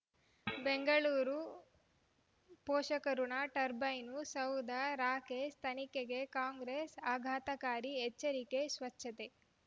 ಬೆಂಗಳೂರು ಪೋಷಕಋಣ ಟರ್ಬೈನು ಸೌಧ ರಾಕೇಶ್ ತನಿಖೆಗೆ ಕಾಂಗ್ರೆಸ್ ಆಘಾತಕಾರಿ ಎಚ್ಚರಿಕೆ ಸ್ವಚ್ಛತೆ